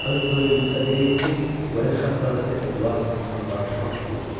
öz böyüyünüzə deyin ki, Well Şahzadəsi Eduard onunla danışmaq istəyir.